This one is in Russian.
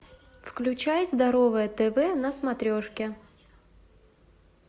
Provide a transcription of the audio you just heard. включай здоровое тв на смотрешке